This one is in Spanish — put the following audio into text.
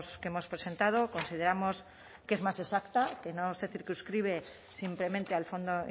que hemos presentado consideramos que es más exacta que no se circunscribe simplemente al fondo